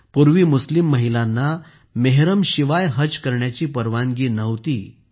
पूर्वी मुस्लिम महिलांना मेहरमशिवाय हज करण्याची परवानगी नव्हती